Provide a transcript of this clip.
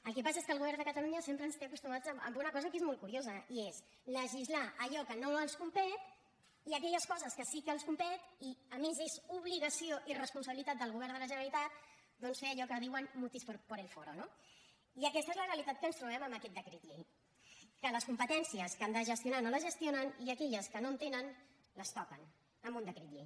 el que passa és que el govern de catalunya sempre ens té acostumats a una cosa que és molt curiosa i és legislar allò que no els competeix i aquelles coses que sí que els competeix i a més és obligació i responsabilitat del govern de la generalitat doncs fer allò que diuen mutis por el foro no i aquesta és la realitat que ens trobem amb aquests decret llei que les competències que han de gestionar no les gestionen i aquelles que no tenen les toquen amb un decret llei